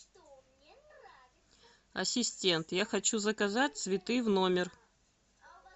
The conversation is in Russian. ассистент я хочу заказать цветы в номер